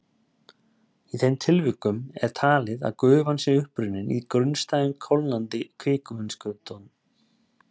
Í þeim tilvikum er talið að gufan sé upprunnin í grunnstæðum kólnandi kvikuinnskotum.